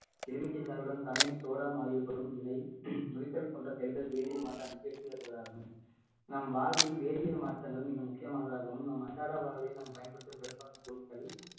எலுமிச்சை சாறுடன் சமையல் சோடா வரும் நிலை போன்ற செயல்கள் வேதியல் மாற்றத்திற்கு எடுத்துக்கட்டுகளாகும் நம் வாழ்வில் வேதியல் மாற்றங்கள் மிக முக்கியமானதாகவும் நம் அன்றாட வாழ்வில் நாம் பயன்படுத்தும் பெரும்பாலான பொருட்கள்